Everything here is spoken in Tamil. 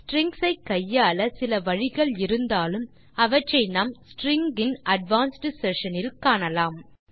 ஸ்ட்ரிங்ஸ் ஐ கையாள சில வழிகள் இருந்தாலும் அவற்றை நாம் ஸ்ட்ரிங்ஸ் இன் அட்வான்ஸ்ட் செஷன் இல் காணலாம்